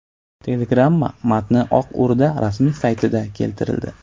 Telegramma matni Oq O‘rda rasmiy saytida keltirildi .